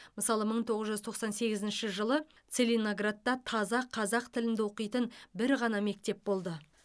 мысалы мың тоғыз жүз тоқсан сегізінші жылы целиноградта таза қазақ тілінде оқитын бір ғана мектеп болды